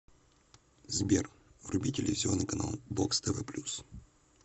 сбер вруби телевизионный канал бокс тв плюс